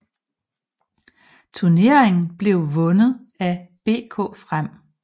Turneringen blev vundet af BK Frem